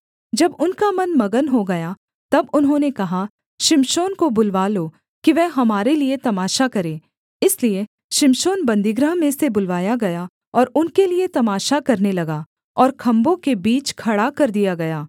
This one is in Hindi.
जब उनका मन मगन हो गया तब उन्होंने कहा शिमशोन को बुलवा लो कि वह हमारे लिये तमाशा करे इसलिए शिमशोन बन्दीगृह में से बुलवाया गया और उनके लिये तमाशा करने लगा और खम्भों के बीच खड़ा कर दिया गया